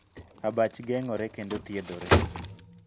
Abach geng'ore kendo thiedhore.